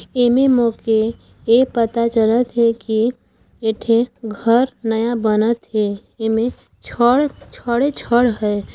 एमे मोके ए पता चलत हे की एठे घर नया बनत हे एमे छड़ छड़े छड़ है।